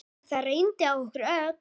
Þetta reyndi á okkur öll.